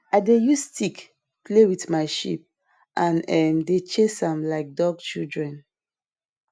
i dey use stick play with my sheep and um dem dey chase am like dog children